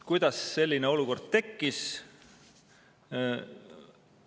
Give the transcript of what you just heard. Kuidas selline olukord tekkis?